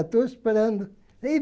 Estou esperando.